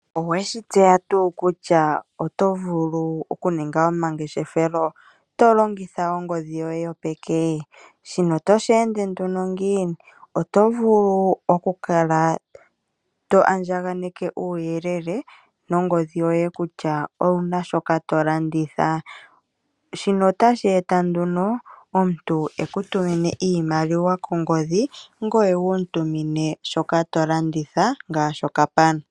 Oweshi tseya tuu kutya oto vulu oku ninga oma ngeshefelo to longitha ongodhi yoye yopeke? Shino otoshi ende nduno ngiini, otoshi ende uuna to andjakaneke uuyelele wongodhi yoye kutya owuna shoka to landitha. Shino otashi eta omuntu eku tumine iimaliwa kongodhi ngoye wu tumine shoka to landitha ngaashi okapana.